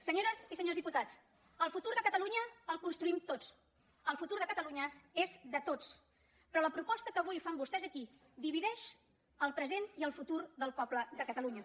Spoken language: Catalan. senyores i senyors diputats el futur de catalunya el construïm tots el futur de catalunya és de tots però la proposta que avui fan vostès aquí divideix el present i el futur del poble de catalunya